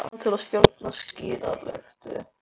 Einnig kunnáttumann til að stjórna skíðalyftu.